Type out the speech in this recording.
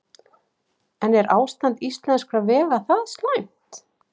En er ástand íslenskra vega það slæmt?